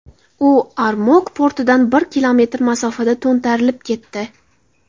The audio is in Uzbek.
U Ormok portidan bir kilometr masofada to‘ntarilib ketdi.